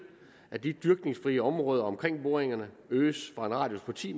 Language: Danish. at de dyrkningsfrie områder omkring boringerne øges fra en radius på ti